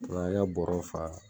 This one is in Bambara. U y 'an ka bɔrɔw fa